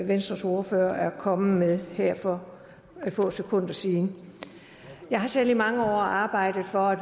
venstres ordfører er kommet med her for få sekunder siden jeg har selv i mange år arbejdet for at